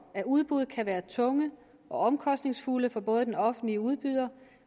at udbud kan være tunge og omkostningsfulde for både den offentlige udbyder